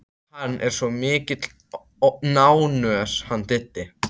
Hann er svo mikil nánös hann Diddi.